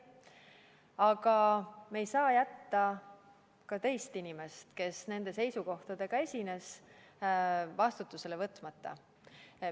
Aga me ei saa jätta ka teist inimest, kes nende seisukohtadega esines, vastutusele võtmata.